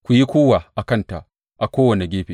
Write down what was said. Ku yi kuwwa a kanta a kowane gefe!